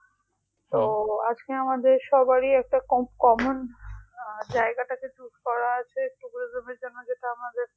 আজকে আমাদের সবারই একটা কম common জায়গাটাতে choose করা আছে tourism এর জন্য যেতে হবে